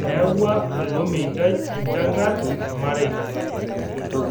Eyaua ilo meitai enchankar rmareita